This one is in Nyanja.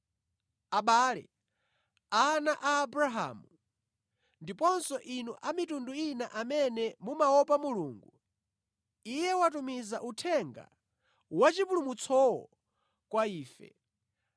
“Abale, ana a Abrahamu, ndiponso inu a mitundu ina amene mumaopa Mulungu, Iye watumiza uthenga wachipulumutsowo kwa ife.